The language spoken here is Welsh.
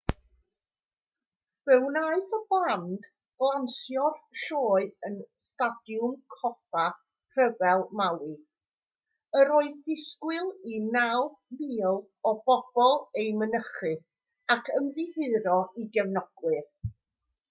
fe wnaeth y band ganslo'r sioe yn stadiwm coffa rhyfel maui yr oedd disgwyl i 9,000 o bobl ei mynychu ac ymddiheuro i gefnogwyr